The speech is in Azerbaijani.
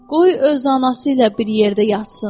Qoy öz anası ilə bir yerdə yatsın.